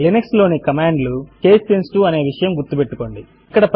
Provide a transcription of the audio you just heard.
Linux లోని command లు case sensitive అనే విషయము గుర్తు పెట్టుకోండి